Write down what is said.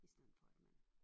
I stedet for at man